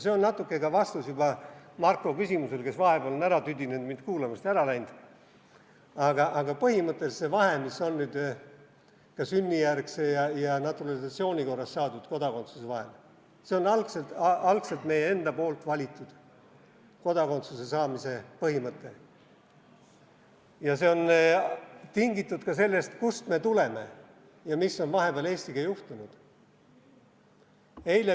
See on natuke ka vastus juba Marko küsimusele, kes vahepeal on tüdinenud mind kuulamast ja ära läinud, aga põhimõtteliselt see vahe, mis nüüd on ka sünnijärgse ja naturalisatsiooni korras saadud kodakondsuse vahel, see on algselt meie enda valitud kodakondsuse saamise põhimõte ja see on tingitud ka sellest, kust me tuleme ja mis on vahepeal Eestiga juhtunud.